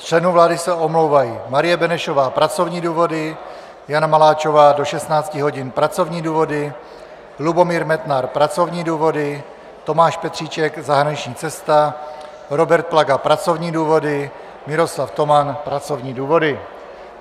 Z členů vlády se omlouvají: Marie Benešová - pracovní důvody, Jana Maláčová do 16 hodin - pracovní důvody, Lubomír Metnar - pracovní důvody, Tomáš Petříček - zahraniční cesta, Robert Plaga - pracovní důvody, Miroslav Toman - pracovní důvody.